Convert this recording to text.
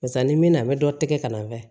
Barisa ni min na an bɛ dɔ tigɛ ka na